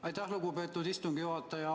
Aitäh, lugupeetud istungi juhataja!